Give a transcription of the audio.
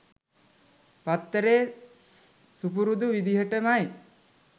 පත්තරේ සුපුරුදු විදිහමයි